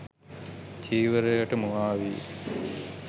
චීවරයට මුවාවී